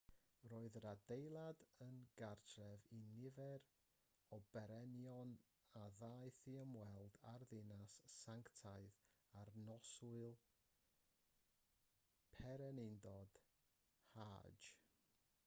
roedd yr adeilad yn gartref i nifer o bererinion a ddaeth i ymweld â'r ddinas sanctaidd ar noswyl pererindod hajj